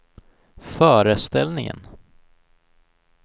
föreställningen